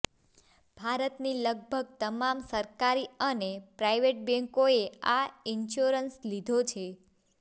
ભારતની લગભગ તમામ સરકારી અને પ્રાઈવેટ બેંકોએ આ ઈન્શ્યોરન્સ લીધો છે